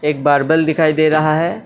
एक बारबैल दिखाई दे रहा है।